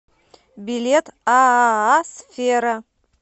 билет ааа сфера